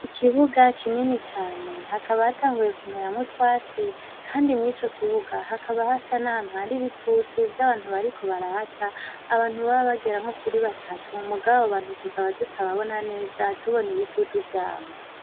Ikibuga kinini cane hakaba hatanguye kumeramwo utwatsi kandi mw'ico kibuga hakaba hasa n'ahantu hari ibitutu vy'abantu bariko barahaca, abantu boba bagera nko kuri batatu mugabo abo bantu tuakaba tutababona neza tubona ibitutu vyabo.